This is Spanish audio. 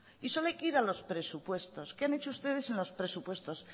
y solo hay que ir a los presupuestos qué han hecho ustedes en los presupuestos